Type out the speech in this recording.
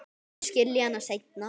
Hún mun skilja hana seinna.